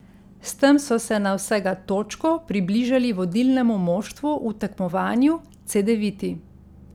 S tem so se na vsega točko približali vodilnemu moštvu v tekmovanju, Cedeviti.